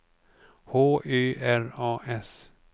H Ö R A S